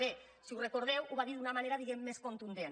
bé si ho recordeu ho va dir d’una manera diguemne més contundent